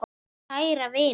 Kæra vina!